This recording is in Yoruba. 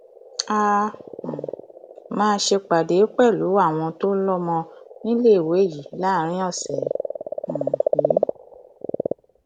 a um máa ṣèpàdé pẹlú àwọn tó lọmọ níléèwé yìí láàrin ọsẹ um yìí